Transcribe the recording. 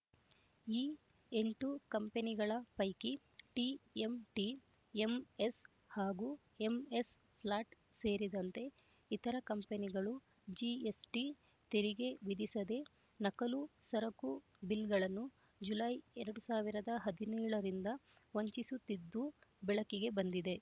ಈ ಎಂಟು ಕಂಪನಿಗಳ ಪೈಕಿ ಟಿಎಂಟಿ ಎಂಎಸ್ ಹಾಗೂ ಎಂಎಸ್ ಫ್ಲಾಟ್ ಸೇರಿದಂತೆ ಇತರ ಕಂಪನಿಗಳು ಜಿಎಸ್‌ಟಿ ತೆರಿಗೆ ವಿಧಿಸದೆ ನಕಲಿ ಸರಕು ಬಿಲ್‌ಗಳನ್ನು ಜುಲೈ ಎರಡ್ ಸಾವಿರದ ಹದಿನೇಳು ರಿಂದ ವಂಚಿಸುತ್ತಿದ್ದುದು ಬೆಳಕಿಗೆ ಬಂದಿದೆ